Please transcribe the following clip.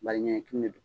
Baliɲatu de don